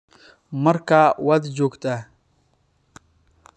Markaa waad joogtaa